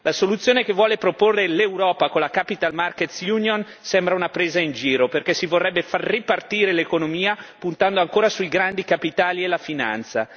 La soluzione che vuole proporre l'Europa con l'Unione dei mercati dei capitali sembra una presa in giro perché si vorrebbe far ripartire l'economia puntando ancora sui grandi capitali e la finanza.